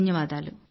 ధన్యవాదాలు